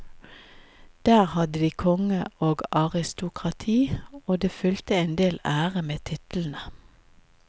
Der hadde de konge og aristokrati, og det fulgte en del ære med titlene.